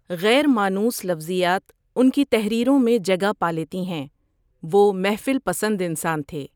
غیر مانوس لفظیات ان کی تحریروں میں جگہ پالیتی ہیں وہ محفل پسند انسان تھے۔